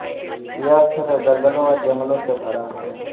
यह क्षेत्र दलदलों और जंगलों से भरा है